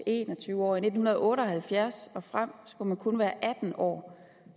en og tyve år og i nitten otte og halvfjerds og frem skulle man kun være atten år